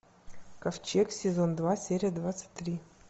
ковчег сезон два серия двадцать три